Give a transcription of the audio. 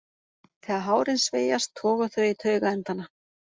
Þegar hárin sveigjast toga þau í taugaendana.